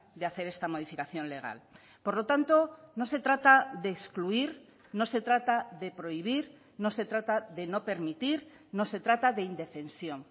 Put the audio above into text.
de hacer esta modificación legal por lo tanto no se trata de excluir no se trata de prohibir no se trata de no permitir no se trata de indefensión